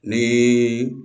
Ni